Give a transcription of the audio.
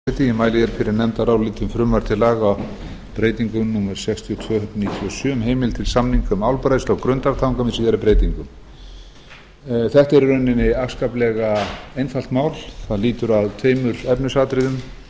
hæstvirtur forseti ég mæli hér fyrir nefndaráliti um frumvarp til laga breytingu númer sextíu og tvö nítján hundruð níutíu og sjö um heimild til samninga um álbræðslu á grundartanga með síðari breytingum þetta er í rauninni afskaplega einfalt mál það lýtur að tveimur efnisatriðum